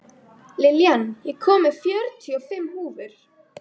Lillian, ég kom með fjörutíu og fimm húfur!